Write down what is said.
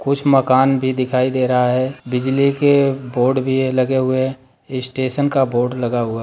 कुछ मकान भी दिखाई दे रहा हैं बिजली के बोर्ड भी लगे हुए स्टेशन का बोर्ड लगा हुआ--